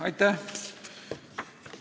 Aitäh!